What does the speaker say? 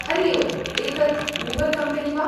हरि ओम् एतत् Uber company वा ?